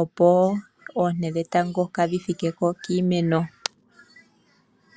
opo oonte dhetango kaadhi thike ko kiimeno.